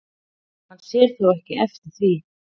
Hann sér þó ekki eftir því